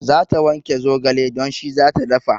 Za ta wanke zogale don shi zata dafa